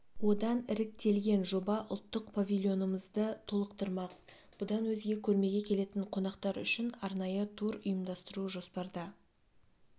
одан іріктелген жоба ұлттық павильонымызды толықтырмақ бұдан өзге көрмеге келетін қонақтар үшін арнайы тур ұйымдастыру жоспарда